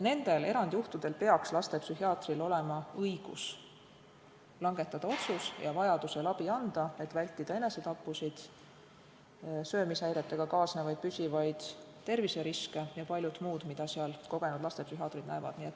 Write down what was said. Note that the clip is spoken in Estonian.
Nendel erandjuhtudel peaks lastepsühhiaatril olema õigus langetada otsus ja vajaduse korral abi anda, et vältida enesetappusid, söömishäiretega kaasnevaid püsivaid terviseriske ja paljut muud, mida kogenud lastepsühhiaatrid näevad.